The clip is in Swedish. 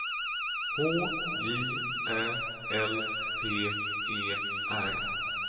H J Ä L P E R